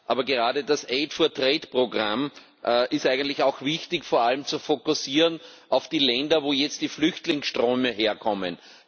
Aber gerade das Programm ist eigentlich auch wichtig, vor allem zu fokussieren auf die Länder, wo jetzt die Flüchtlingsströme herkommen.